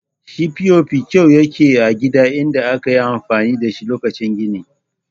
Shi POP kyau yake a gida idan akayi amfani dashi lokacin gini